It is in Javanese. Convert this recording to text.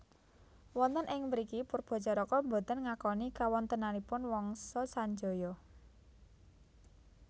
Wonten ing mriki Poerbatjaraka boten ngakoni kawontenanipun Wangsa Sanjaya